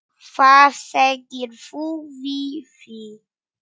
Hvað segir þú við því?